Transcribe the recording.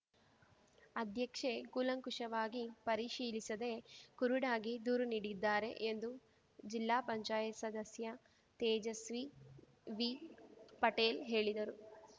ಅಧ್ಯಕ್ಷೆ ಕೂಲಂಕುಷವಾಗಿ ಪರಿಶೀಲಿಸದೇ ಕುರುಡಾಗಿ ದೂರು ನೀಡಿದ್ದಾರೆ ಎಂದು ಜಿಲ್ಲಾ ಪಂಚಾಯತ್ ಸದಸ್ಯ ತೇಜಸ್ವಿ ವಿಪಟೇಲ್‌ ಹೇಳಿದರು